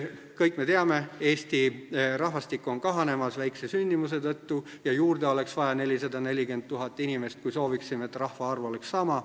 Kõik me teame, et Eesti rahvastik on kahanemas väikse sündimuse tõttu ja juurde oleks vaja 440 000 inimest, kui sooviksime, et rahvaarv oleks sama.